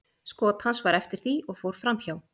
Skot hans var eftir því og fór framhjá.